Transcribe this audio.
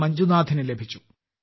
മഞ്ജുനാഥിനു ലഭിച്ചു